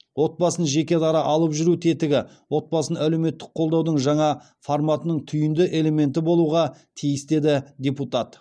отбасын жекедара алып жүру тетігі отбасын әлеуметтік қолдаудың жаңа форматының түйінді элементі болуға тиіс деді депутат